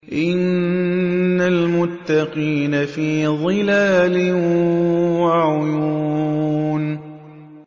إِنَّ الْمُتَّقِينَ فِي ظِلَالٍ وَعُيُونٍ